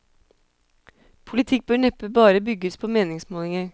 Politikk bør neppe bare bygges på meningsmålinger.